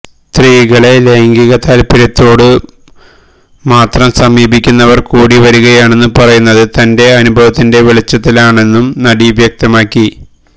സ്ത്രീകളെ ലൈംഗികതാൽപര്യത്തോടു മാത്രം സമീപിക്കുന്നവർ കൂടിവരികയാണെന്നു പറയുന്നത് തന്റെ അനുഭവത്തിന്റെ വെളിച്ചത്തിലാണെന്നും നടി വ്യക്തമാക്കി